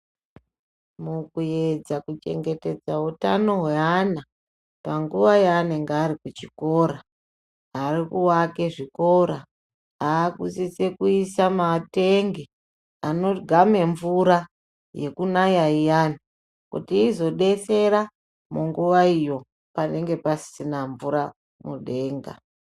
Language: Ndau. Mukuedza ku chengetedza utano hwe ana panguva ya anenge ari ku chikora ari ku vake zvikora akusisa kuisa matenge ano game mvura yekunaya iyani kuti izo detsera munguva iyo panenge pasisina mvura mudenga.